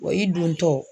Wa i dontɔ